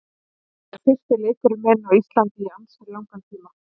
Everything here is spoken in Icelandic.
Þetta er fyrsti leikurinn minn á Íslandi í ansi langan tíma.